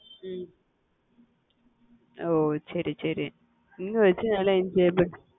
உம் ஓஹ் சரி சரி இந்த வயசுல நல்லா enjoy பண்ணு